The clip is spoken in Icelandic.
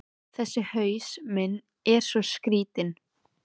Þessi haus minn er svo skrýtinn.